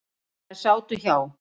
Þær sátu hjá.